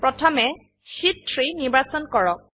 প্ৰথমে শিট 3 নিৰ্বাচন কৰক